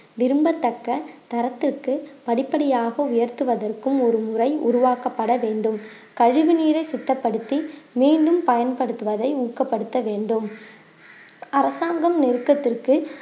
விரும்பத்தக்க தரத்திற்கு படிப்படியாக உயர்த்துவதற்கும் ஒரு முறை உருவாக்கப்பட வேண்டும் கழிவு நீரை சுத்தப்படுத்தி மீண்டும் பயன்படுத்துவதை ஊக்கப்படுத்த வேண்டும் அரசாங்கம் நெருக்கத்திற்கு